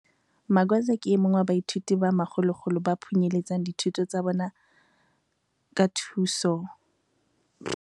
Magwaza ke e mong wa baithuti ba makgolokgolo ba phunyeletsang dithutong tsa bona ka thuso ya mananeo a ntshetsopele ya batjha a MISA selemo ka seng.